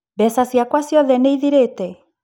Mbeca ciakwa ciothe nĩ ithirĩte?